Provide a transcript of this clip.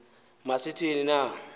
ma sithi ni